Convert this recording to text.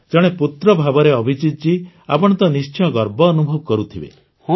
ଜଣେ ପୁତ୍ର ଭାବରେ ଅଭିଜିତ୍ଜୀ ଆପଣ ତ ନିଶ୍ଚୟ ଗର୍ବ ଅନୁଭବ କରୁଥିବେ